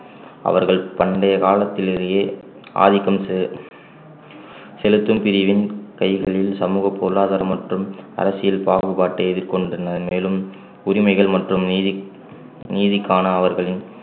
அவர்கள் பண்டைய காலத்திலேயே ஆதிக்கம் செ~ செலுத்தும் பிரிவின் கைகளில் சமூக பொருளாதாரம் மற்றும் அரசியல் பாகுபாட்டை எதிர்கொண்டிருந்தனர் மேலும் உரிமைகள் மற்றும் நீதி~ நீதிக்கான அவர்களின்